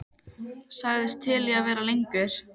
Sagðist til í að vera lengur.